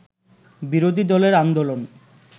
বিরোধী দলের আন্দোলন